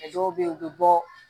Dɔw bɛ yen u bɛ bɔ